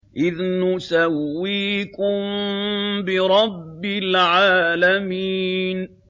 إِذْ نُسَوِّيكُم بِرَبِّ الْعَالَمِينَ